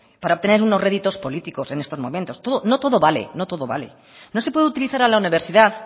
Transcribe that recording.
para tener unos réditos políticos en estos momentos no todo vale no todo vale no se puede utilizar a la universidad